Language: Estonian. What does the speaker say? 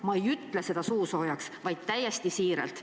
Ma ei ütle seda suusoojaks, vaid täiesti siiralt."